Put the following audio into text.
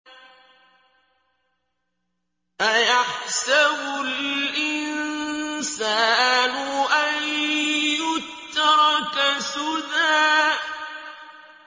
أَيَحْسَبُ الْإِنسَانُ أَن يُتْرَكَ سُدًى